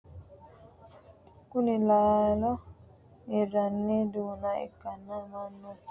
Kunni laallo hiranni duunna ikanna mannu heeshosi woyeesate yee looso kalqe loosanni nooha ikanna konne darga noota laallo su'mansa kuli?